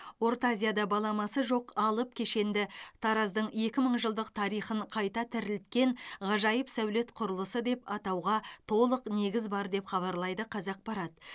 орта азияда баламасы жоқ алып кешенді тараздың екі мың жылдық тарихын қайта тірілткен ғажайып сәулет құрылысы деп атауға толық негіз бар деп хабарлайды қазақпарат